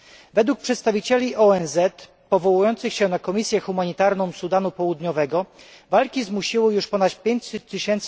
Według przedstawicieli ONZ, powołujących się na komisję humanitarną Sudanu Południowego, walki zmusiły już ponad 500 tys.